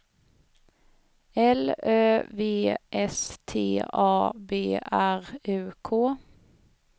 L Ö V S T A B R U K